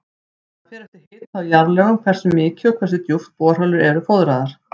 Það fer eftir hita og jarðlögum hversu mikið og hversu djúpt borholur eru fóðraðar.